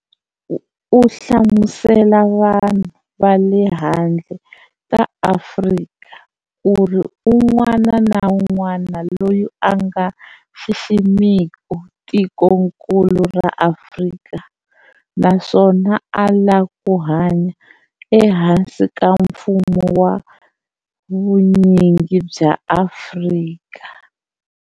Uhlamusele vanhu vale handle ka Afrika, kuri un'wana na un'wana loyi anga xiximiku tikonkulu ra Afrika naswona a la kuhanya ehansi ka mfumo wa vunyingi bya Afrika.